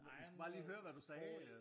De skulle bare lige høre hvad du sagde øh